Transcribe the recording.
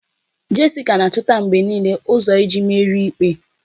Jessica na-achọta mgbe niile ụzọ iji merie ikpe